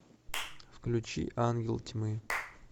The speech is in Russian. включи ангел тьмы